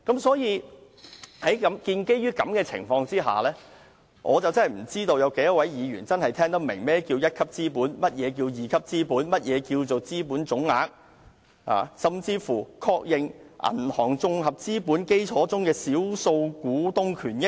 所以，在這個情況下，我實在不知道有多少位議員聽得懂何謂"一級資本"、"二級資本"、"資本總額"，甚至是"確認銀行綜合資本基礎中的少數股東權益"等。